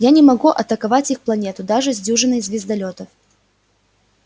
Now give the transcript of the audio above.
я не могу атаковать их планету даже с дюжиной звездолётов